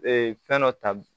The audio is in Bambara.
Ee fɛn dɔ ta